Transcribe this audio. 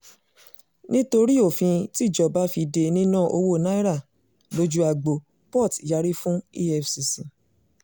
nítorí òfin tíjọba fi dé níná owó naira lójú agbo port yàrí fún efcc